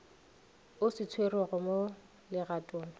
o se tšerego mo legatong